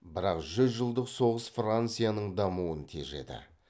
бірақ жүз жылдық соғыс францияның дамуын тежеді